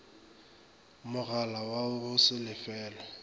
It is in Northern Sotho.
mogala wa go se lefelwe